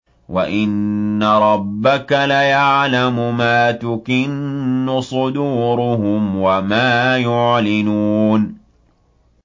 وَإِنَّ رَبَّكَ لَيَعْلَمُ مَا تُكِنُّ صُدُورُهُمْ وَمَا يُعْلِنُونَ